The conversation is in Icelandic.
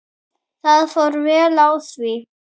Það fór vel á því.